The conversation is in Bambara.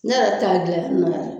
Ne yɛrɛ ta gilali nɔgɔyara